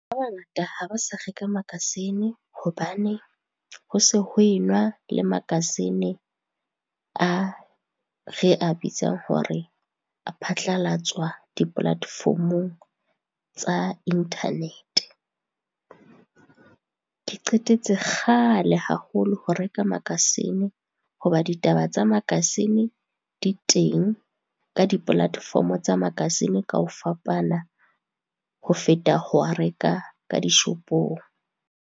Ba bangata ha ba sa reka makasine hobane ho se ho e nwa le makasine a re a bitsang hore a phatlalatswa di-platform-ong tsa inthanete. Ke qetetse kgale haholo ho reka makasine, hoba ditaba tsa makasine, di teng ka di-platform-o tsa makasine ka ho fapana ho feta ho a reka ka dishopong.